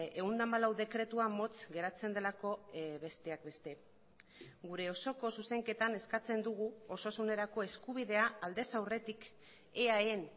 ehun eta hamalau dekretua motz geratzen delako besteak beste gure osoko zuzenketan eskatzen dugu osasunerako eskubidea aldez aurretik eaen